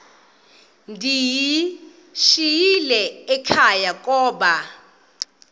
ndiyishiyile ekhaya koba